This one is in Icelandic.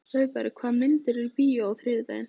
Auðberg, hvaða myndir eru í bíó á þriðjudaginn?